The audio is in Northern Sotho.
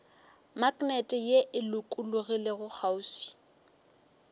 maknete ye e lokologilego kgauswi